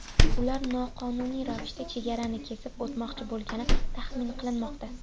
Ular noqonuniy ravishda chegarani kesib o‘tmoqchi bo‘lgani taxmin qilinmoqda.